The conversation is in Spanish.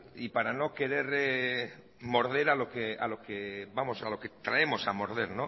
y para no querer morder a lo que traemos a morder